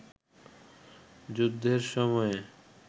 যুদ্ধের সময়ে